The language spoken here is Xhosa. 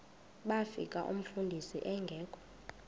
bafika umfundisi engekho